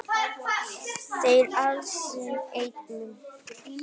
Þeir allir sem einn?